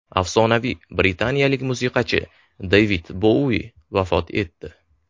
Afsonaviy britaniyalik musiqachi Devid Boui vafot etdi.